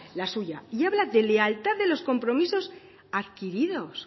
la suya y habla de lealtad de los compromisos adquiridos